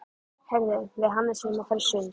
Heyrðu, við Hannes erum að fara í sund.